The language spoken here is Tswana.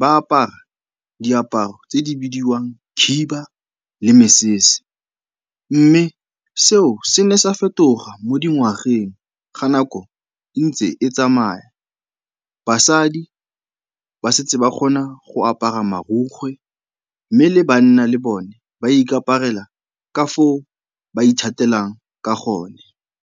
ba apara diaparo tse di bidiwang khiba le mesese mme seo se ne sa fetoga mo dingwageng ga nako e ntse e tsamaya. Basadi ba setse ba kgona go apara marokgwe mme le banna le bone ba ikaparela ka foo ba ithatelang ka gone.